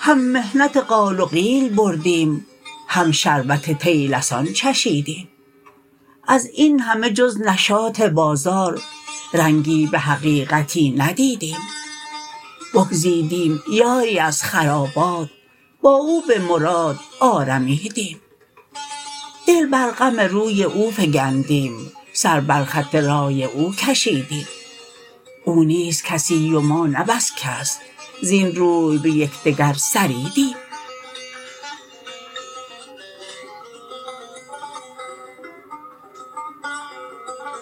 هم محنت قال و قیل بردیم هم شربت طیلسان چشیدیم از اینهمه جز نشاط بازار رنگی به حقیقتی ندیدیم بگزیدیم یاری از خرابات با او به مراد آرمیدیم دل بر غم روی او فگندیم سر بر خط رای او کشیدیم او نیست کسی و ما نه بس کس زین روی به یکدگر سریدیم